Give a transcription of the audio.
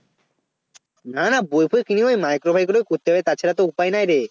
না না বই ফই কিনব না Micro faikro গুলো করতে হবে তাছাড়া উপায় নাই রে